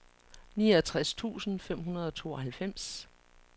niogtres tusind fem hundrede og tooghalvfems